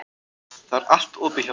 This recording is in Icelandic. Það er allt opið hjá okkur.